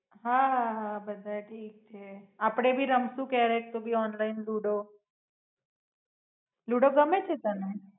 હાં હાં હા બધાય થીક છે. આપડે ભી રમશું ક્યારેક તું ભી ઓનલાઇન લુડો લુડો ગમે છે તને?